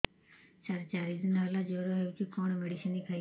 ସାର ଚାରି ଦିନ ହେଲା ଜ୍ଵର ହେଇଚି କଣ ମେଡିସିନ ଖାଇବି